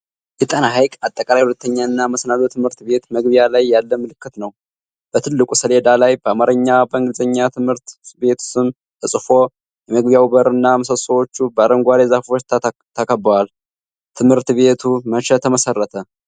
የጣና ሃይቅ አጠቃላይ ሁለተኛና መሰናዶ ትምህርት ቤት መግቢያ ላይ ያለ ምልክት ነው። በትልቁ ሰሌዳ ላይ በአማርኛና በእንግሊዘኛ የትምህርት ቤቱ ስም ተጽፎ። የመግቢያው በርና ምሰሶዎቹ በአረንጓዴ ዛፎች ተከበዋል። ትምህርት ቤቱ መቼ ተመሰረተ?